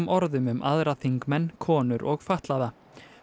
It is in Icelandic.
orðum um aðra þingmenn konur og fatlaða